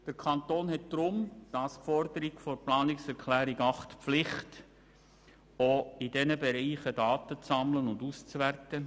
Der Kanton hat deshalb gemäss Forderung der Planungserklärung 8 die Pflicht, auch in diesen Bereichen Daten zu sammeln und auszuwerten.